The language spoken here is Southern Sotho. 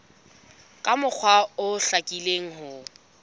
ka mokgwa o hlakileng ho